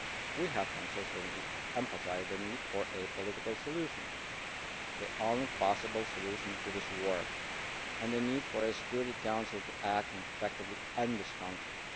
We have consistently emphasised the need for a political solution the only possible solution to this war and the need for the Security Council to act and effectively end this conflict.